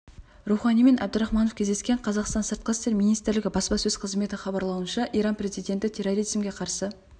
роухани мен әбдірахманов кездескен қазақстан сыртқы істер министрлігі баспасөз қызметі хабарлауынша иран президенті терроризмге қарсы